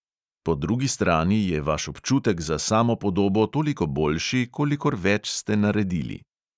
Po drugi strani je vaš občutek za samopodobo toliko boljši, kolikor več ste naredili.